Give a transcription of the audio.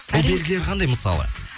ол белгілері қандай мысалы